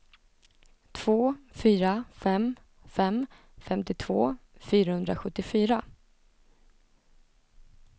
två fyra fem fem femtiotvå fyrahundrasjuttiofyra